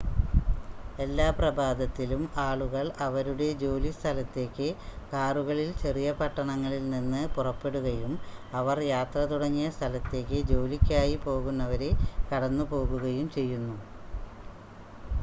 എല്ലാ പ്രഭാതത്തിലും ആളുകൾ അവരുടെ ജോലി സ്ഥലത്തേക്ക് കാറുകളിൽ ചെറിയ പട്ടണങ്ങളിൽ നിന്ന് പുറപ്പെടുകയും അവർ യാത്ര തുടങ്ങിയ സ്ഥലത്തേക്ക് ജോലിക്കായി പോകുന്നവരെ കടന്ന് പോകുകയും ചെയ്യുന്നു